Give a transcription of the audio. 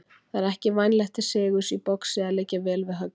Það er ekki vænlegt til sigurs í boxi að liggja vel við höggi.